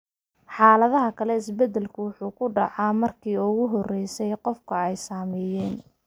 Xaaladaha kale, isbeddelku wuxuu ku dhacaa markii ugu horeysay qof ay saameeyeen.